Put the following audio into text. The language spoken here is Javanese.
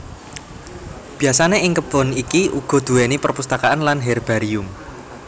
Biasane ing kebon iki ugo duweni perpustakaan lan herbarium